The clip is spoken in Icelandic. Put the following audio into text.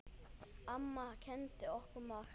Amma kenndi okkur margt.